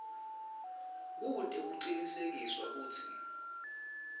kute kucinisekiswe kutsi